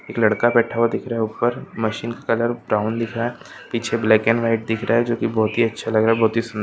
एक लड़का बैठा हुआ दिख रहा है ऊपर मशीन कलर ब्राउन दिख रहा है पीछे ब्लैक एण्ड व्हाइट दिख रहा है जो की बहोत ही अच्छा लग रहा है बहोत ही--